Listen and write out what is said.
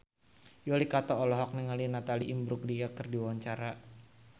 Yuki Kato olohok ningali Natalie Imbruglia keur diwawancara